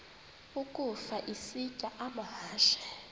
ukafa isitya amahashe